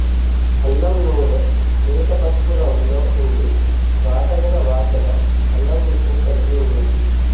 అల్లం నూనె లేత పసుపు రంగులో వుండి ఘాటైన వాసన అల్లం రుచిని కల్గివున్నది